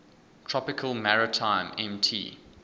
tropical maritime mt